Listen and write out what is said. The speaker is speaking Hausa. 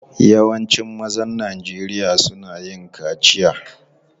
Yawancin mazan Najeriya suna yin kaciya.